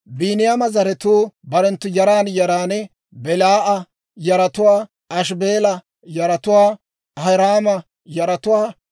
Biiniyaama zaratuu barenttu yaran yaran: Belaa'a yaratuwaa, Ashibeela yaratuwaa, Ahiraama yaratuwaa,